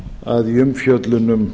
að í umfjöllun um